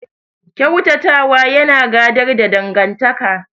Ƙyautata wa yana gadar da dangantaka.